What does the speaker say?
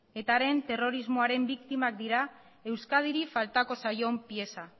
etaren terrorismoaren biktimak dira euskadiri faltako zaion pieza